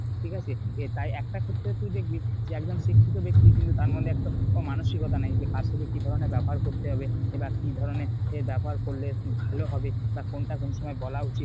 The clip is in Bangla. ঠিক আছে। তে তাই একটা ক্ষেত্রে তুই দেখবি যে একজন শিক্ষিত ব্যাক্তি কিন্ত তার মধ্যে একটা মানসিকতা নাই যে কার সাথে কি ধরণের ব্যবহার করতে হবে বা কি ধরণের ব্যবহার করলে ভালো হবে বা কোনটা কোন সময় বলা উচিত